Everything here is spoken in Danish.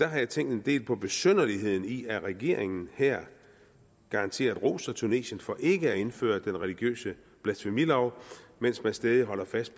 jeg tænkt en del på besynderligheden i at regeringen her garanteret roser tunesien for ikke at indføre den religiøse blasfemilov mens den stædigt holder fast